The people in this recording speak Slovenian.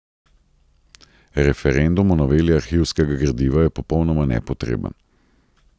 Referendum o noveli arhivskega gradiva je popolnoma nepotreben.